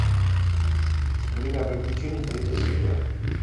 время приключений третья серия